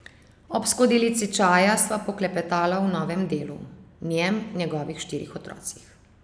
Ob skodelici čaja sva poklepetala o novem delu, njem, njegovih štirih otrocih.